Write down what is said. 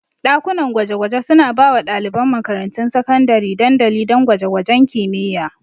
Dakunan gwaje-gwaje suna ba wa ɗaliban makarantun sakandare dandali don gwaje-gwajen kimiyya.